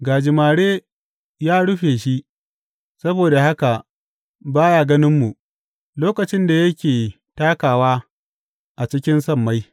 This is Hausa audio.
Gajimare ya rufe shi, saboda haka ba ya ganinmu lokacin da yake takawa a cikin sammai.’